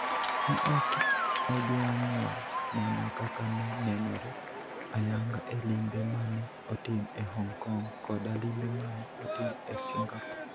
Ne ok ojwang'wa mana kaka ne nenore ayanga e limbe ma ne otim e Hong Kong koda limbe ma ne otim e Singapore.